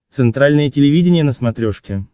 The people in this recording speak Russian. центральное телевидение на смотрешке